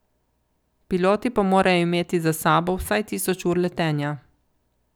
Piloti pa morajo imeti za sabo vsaj tisoč ur letenja.